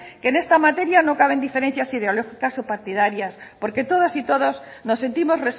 que en esta materia no caben diferencias ideológicas y partidarias porque todas y todos nos sentimos